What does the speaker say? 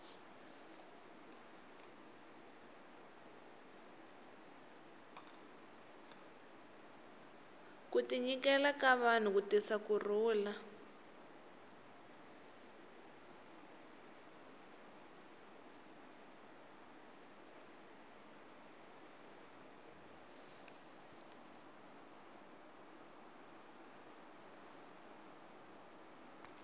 ku tinyikela ka vanhu ku tisa ku rhulu